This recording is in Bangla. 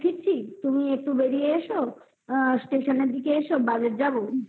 ফিরছি তুমি একটু বেরিয়ে এসো আ station দিকে এসো বাজার যাবো